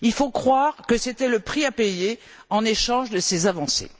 Il faut croire que c'était le prix à payer en échange de ces avancées.